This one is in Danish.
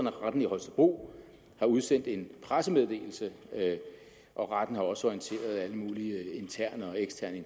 at retten i holstebro har udsendt en pressemeddelelse og retten har også orienteret alle mulige interne og eksterne